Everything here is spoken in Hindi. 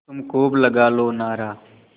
तुम खूब लगा लो नारा